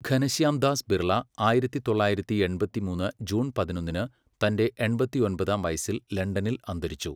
ഘനശ്യാം ദാസ് ബിർള ആയിരത്തി തൊള്ളായിരത്തി എൺപത്തിമൂന്ന് ജൂൺ പതിനൊന്നിന് തന്റെ എൺപത്തൊമ്പതാം വയസ്സിൽ ലണ്ടനിൽ അന്തരിച്ചു.